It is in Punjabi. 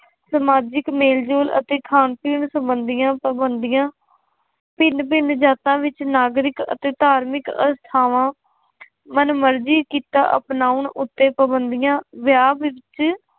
ਸਮਾਜਿਕ ਮੇਲ ਜੋਲ ਅਤੇ ਖਾਣ ਪੀਣ ਸੰਬੰਧੀਆਂ ਪਾਬੰਦੀਆਂ, ਭਿੰਨ ਭਿੰਨ ਜਾਤਾਂ ਵਿੱਚ ਨਾਗਰਿਕ ਅਤੇ ਧਾਰਮਿਕ ਅਸਥਾਵਾਂ ਮਨਮਰਜ਼ੀ ਕੀਤਾ ਆਪਣਾਉਣ ਉੱਤੇ ਪਾਬੰਦੀਆਂ, ਵਿਆਹ ਦੇ ਵਿੱਚ